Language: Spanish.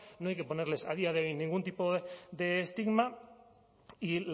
no hay que ponerles a día de hoy ningún tipo de estigma y